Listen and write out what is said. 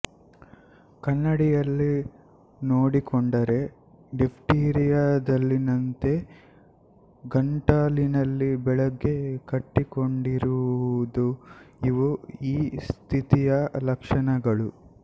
ಕನ್ನಡಿಯಲ್ಲಿ ನೋಡಿಕೊಂಡರೆ ಡಿಫ್ತೀರಿಯದಲ್ಲಿನಂತೆ ಗಂಟಲಿನಲ್ಲಿ ಬೆಳ್ಳಗೆ ಕಟ್ಟಿಕೊಂಡರಿರುವುದುಇವು ಈ ಸ್ಥಿತಿಯ ಲಕ್ಪ್ಷಣಗಳು